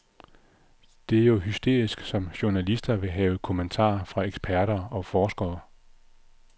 Det er jo hysterisk, som journalister vil have kommentarer fra eksperter og forskere.